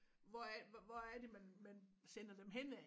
Hvor er hvor er det man man sender dem hen ad